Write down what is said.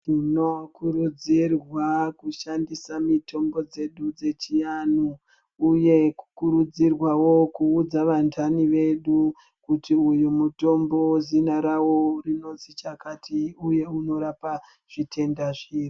Tinokurudzirwa kushandisa mitombo dzedu dzechainhu uye kukurudzirwawo kuudza vanhani vedu kuti uyu mutombo zina rawo rinozwi chakati uye unorapa zvitenda zviri.